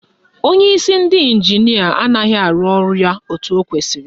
Onyeisi ndị ịnjinịa anaghị arụ ọrụ ya etu o kwesiri